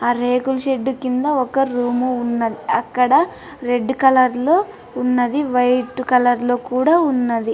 ఆ రేకుల షెడ్డు కింద ఒక రూమ్ ఉన్నది. అక్కడ రెడ్ కలర్ లో ఉన్నది వైట్ కలర్ లో కూడా ఉన్నది.